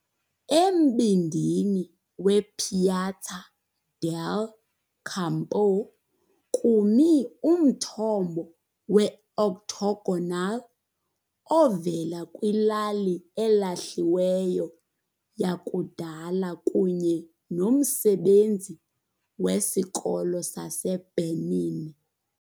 Embindini wePiazza del Campo kumi umthombo we-octagonal ovela kwilali elahliweyo yakudala kunye nomsebenzi wesikolo saseBernini.